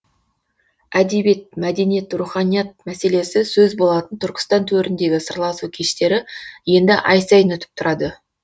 әдебиет мәдениет руханият мәселесі сөз болатын түркістан төріндегі сырласу кештері енді ай сайын өтіп тұрады